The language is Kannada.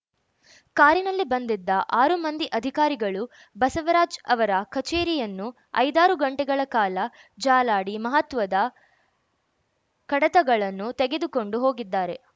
ಕಾರಿನಲ್ಲಿ ಬಂದಿದ್ದ ಆರು ಮಂದಿ ಅಧಿಕಾರಿಗಳು ಬಸವರಾಜ್‌ ಅವರ ಕಚೇರಿಯನ್ನು ಐದಾರು ಗಂಟೆಗಳ ಕಾಲ ಜಾಲಾಡಿ ಮಹತ್ವದ ಕಡತಗಳನ್ನು ತೆಗೆದುಕೊಂಡು ಹೋಗಿದ್ದಾರೆ